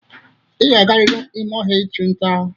Ị ga-agarịrị ime ọhịa ịchụ nta.